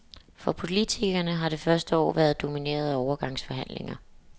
For politikerne har det første år været domineret af overgangsforhandlinger.